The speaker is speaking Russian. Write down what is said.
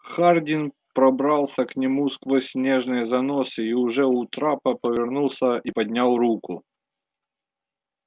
хардин пробрался к нему сквозь снежные заносы и уже у трапа повернулся и поднял руку